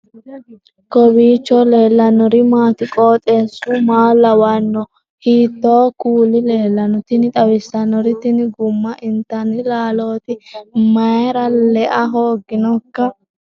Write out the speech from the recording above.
kowiicho leellannori maati ? qooxeessu maa lawaanno ? hiitoo kuuli leellanno ? tini xawissannori tini gumma intanni laaloti ? mayra lea hoogginoikka